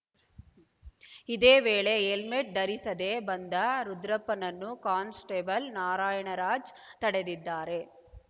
ಇದೇ ವೇಳೆ ಹೆಲ್ಮೆಟ್‌ ಧರಿಸದೇ ಬಂದ ರುದ್ರಪ್ಪನನ್ನು ಕಾನ್ಸ್‌ಟೇಬಲ್‌ ನಾರಾಯಣರಾಜ ತಡೆದಿದ್ದಾರೆ